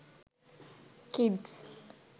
kids